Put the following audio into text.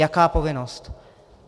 Jaká povinnost?